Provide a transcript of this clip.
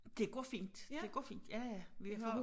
Det går fint det går fint ja ja vi har